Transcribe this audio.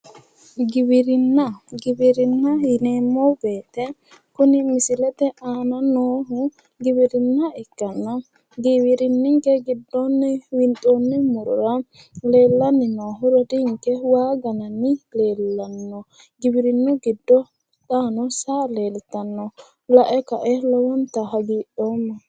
Giwirinna. Giwirinna yineemmo woyite kuni misilete aana noohu giwirinna ikkanna giwirinninke giddoonni winxoonni murora leellanni noohu rodiinke waa gananni leellanno. Giwirinnu giddo xaano saa leeltanno. Lae kae lowontanni hagidhoomma.